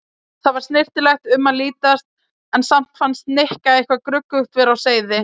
Þar var snyrtilegra um að litast en samt fannst Nikka eitthvað gruggugt vera á seyði.